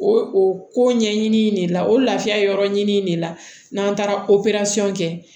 O o ko ɲɛɲini de la o laafiya yɔrɔ ɲini in de la n'an taara o kɛ